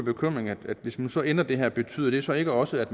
bekymring at hvis man så ender det her betyder det så ikke også at